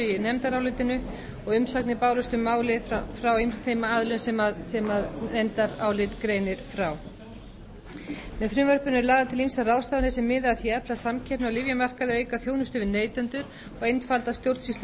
í nefndarálitinu og umsagnir bárust um málið frá ýmsum þeim aðilum sem nefndarálit greinir frá með frumvarpinu eru lagðar til ýmsar ráðstafanir sem miða að því að efla samkeppni á lyfjamarkaði auka þjónustu við neytendur og einfalda stjórnsýslu